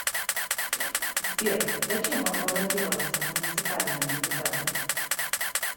сбер зачем вам баллотироваться в муниципальные депутаты